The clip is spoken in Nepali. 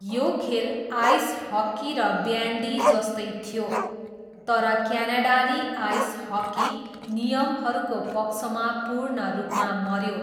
यो खेल आइस हक्की र ब्यान्डी जस्तै थियो, तर क्यानाडाली आइस हक्की नियमहरूको पक्षमा पूर्ण रूपमा मऱ्यो।